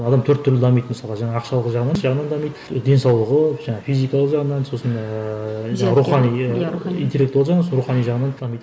адам төрт түрлі дамиды мысалға жаңағы ақшалық жағы жағынан дамиды денсаулығы жаңа физикалық жағынан сосын ііі рухани интеллектуалды жағынан емес рухани жағынан дамиды